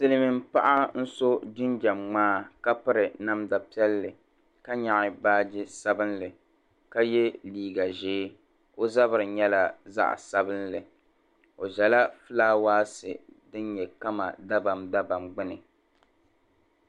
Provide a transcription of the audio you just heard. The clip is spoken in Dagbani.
Silimiin' paɣa n-so jinjamŋmaa ka piri namda piɛlli ka nyaɣi baaji sabinli ka ye liiga ʒee o zabiri nyɛla zaɣ’ sabinli o ʒala fulaawasi din nyɛ kama dabamdabam gbuni